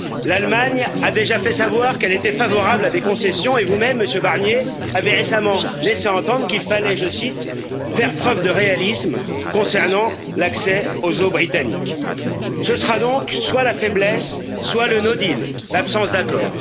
L'Allemagne a déjà fait savoir qu'elle était favorable à des concessions et vous même, Monsieur Barnier, avait récemment laissé entendre qu'il fallait, je cite, faire preuve de réalisme concernant l'accès aux eaux britanniques. Ce sera donc soit la faiblesse, soit le no deal l'absence d'accord.